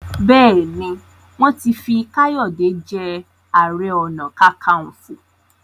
béèni wọn tí fí Kayode je aré ọnà kankanfo.